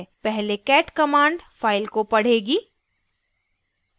* पहले cat command file को पढ़ेगी